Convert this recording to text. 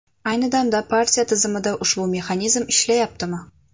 Ayni damda partiya tizimida ushbu mexanizm ishlayaptimi?